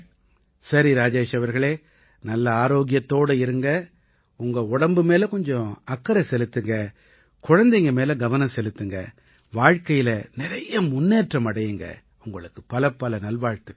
சரி ராஜேஷ் அவர்களே நல்ல ஆரோக்கியத்தோட இருங்க உங்க உடம்பு மேல கொஞ்சம் அக்கறை செலுத்துங்க குழந்தைங்க மேல கவனம் செலுத்துங்க வாழ்க்கையில நிறைய முன்னேற்றம் அடையுங்க உங்களுக்கு பலப்பல நல்வாழ்த்துக்கள்